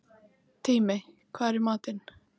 Tími, hvað er í matinn?